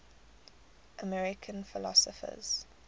american philosophers